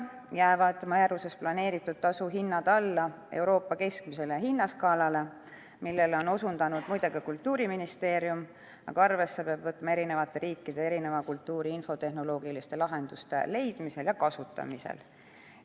Määruses planeeritud tasu hinnad jäävad küll alla Euroopa keskmise hinnaskaala – sellele on osutanud muide ka Kultuuriministeerium –, aga arvesse peab võtma eri riikide erineva kultuuri infotehnoloogiliste lahenduste leidmisel ja kasutamisel.